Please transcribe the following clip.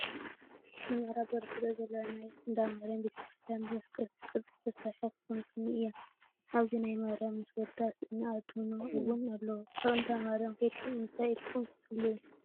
ንምዕራብ ቢሪ ትርኢ ዘለና ናይ እንዳማርያም ቤተ-ክርስትያን ብምስቀል ቅርፂ ዝተሰረሐት ባንኮኒ እያ። ኣብዚ ናይ ማርያም ምስ ወዳ ስእሊ አድህኖ እወን ኣለዎ። ኣብ እንዳመርያም ከይድኩም እንታይ ኢልኩም ትፅልዩ?